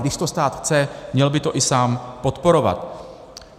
Když to stát chce, měl by to i sám podporovat.